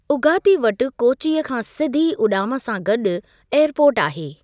उगाती वटि कोचि खां सुधी उॾाम सां गॾु एअरपोर्ट आहे।